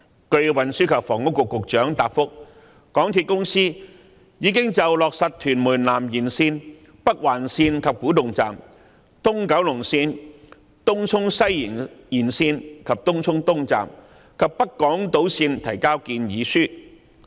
據運輸及房屋局局長答覆，香港鐵路有限公司已就落實屯門南延線、北環線、東九龍線、東涌西延線及北港島線提交建議書。